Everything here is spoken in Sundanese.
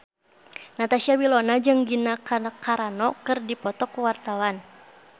Natasha Wilona jeung Gina Carano keur dipoto ku wartawan